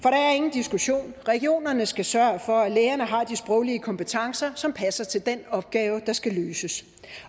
diskussion regionerne skal sørge for at lægerne har de sproglige kompetencer som passer til den opgave der skal løses